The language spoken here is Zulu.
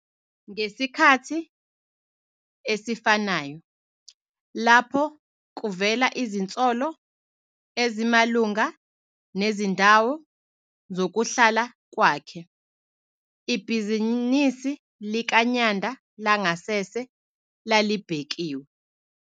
Ngesikhathi esifanayo lapho kuvela izinsolo ezimalunga nezindawo zokuhlala kwakhe, ibhizinisi likaNyanda langasese lalibhekiwe.